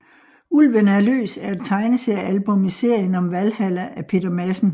Ulven er løs er et tegneseriealbum i serien om Valhalla af Peter Madsen